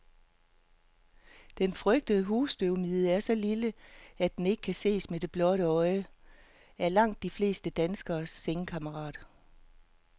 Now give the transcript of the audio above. Den frygtede husstøvmide, som er så lille, at den ikke kan ses med det blotte øje, er langt de fleste danskeres sengekammerat.